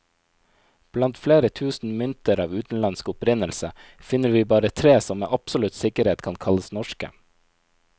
Blant flere tusen mynter av utenlandsk opprinnelse, finner vi bare tre som med absolutt sikkerhet kan kalles norske.